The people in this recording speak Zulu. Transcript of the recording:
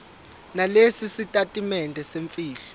nalesi sitatimende semfihlo